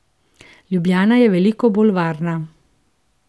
Ljubljana je veliko bolj varna.